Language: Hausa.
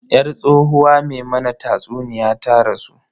Yar tsohuwa me mana tatsuniya ta rasu.